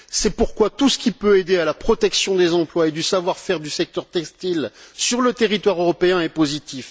C'est pourquoi tout ce qui peut aider à la protection des emplois et du savoir faire du secteur textile sur le territoire européen est positif.